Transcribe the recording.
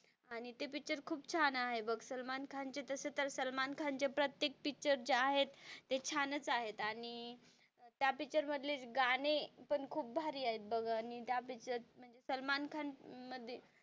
आणि ते पिक्चर खूप छान आहे बघ सलमान खान चे तसे तर सलमान खान चे प्रत्येक पिक्चर जे आहेत ते छान च आहेत आणि त्या पिक्चरमधली गाणी पण खूप भारी आहेत बघ आणि त्या पिक्चर म्हणजे सलमान खान,